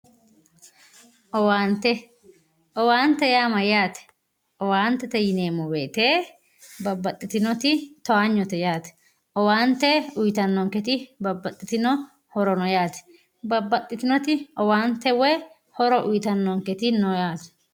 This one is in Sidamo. owaante owaantete yaa mayyate owaante yineemmo wote babbaxitino towaanyote yaate owaante uyiitannonketi babbaxitino horo no yaate babbaxitinoti owaante woy horo uyiitannonketi no yaate.